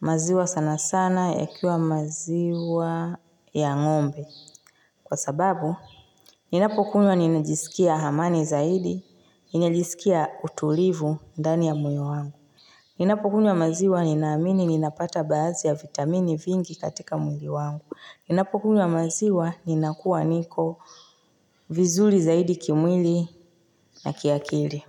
Maziwa sana sana, yakiwa maziwa ya ng'ombe. Kwa sababu, ninapokunywa ninajisikia amani zaidi, ninajisikia utulivu ndani ya moyo wangu. Ninapokunywa maziwa ninaamini ninapata baadhi ya vitamini vingi katika mwili wangu. Ninapokunywa maziwa ninakua niko vizuri zaidi kimwili na kiakili.